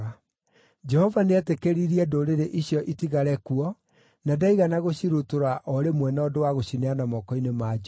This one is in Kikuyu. Jehova nĩetĩkĩririe ndũrĩrĩ icio itigare kuo, na ndaigana gũcirutũrũra o rĩmwe na ũndũ wa gũcineana moko-inĩ ma Joshua.